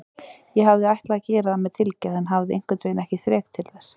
Ég hafði ætlað að gera það með tilgerð en hafði einhvernveginn ekki þrek til þess.